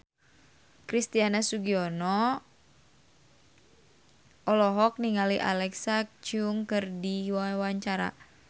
Christian Sugiono olohok ningali Alexa Chung keur diwawancara